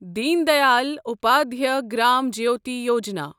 Din Dayal Upadhyaya Gram Jyoti Yojana